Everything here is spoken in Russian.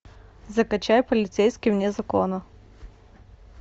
закачай полицейский вне закона